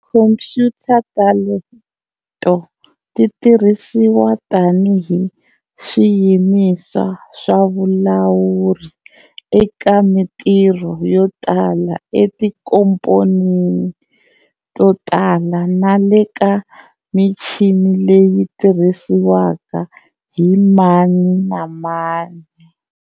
Tikhompuyuta teleto titirhisiwa tanihi swiyimiso swa vulawuri eka mintirho yotala eti nkomponini to tala, nale ka michini leyi tirhisiwaka hi mani namani.